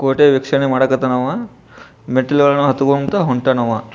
ಕೋಟೆ ವೀಕ್ಷಣೆ ಮಾಡ್ಲಿಕ್ಕ್ ಹೊಂಟಾನ ಅವಂ ಮೆಟ್ಲುಗಳನ್ನ ಹತ್ಕೊಂಡ್ ಹೊಂಟಾನ ಅವಂ.